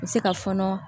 N bɛ se ka fɔɔnɔ